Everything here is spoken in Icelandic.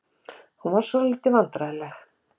Hún varð svolítið vandræðaleg.